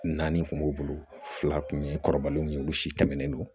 Naani kun b'u bolo fila kun ye kɔrɔbalenw ye olu si tɛmɛnen don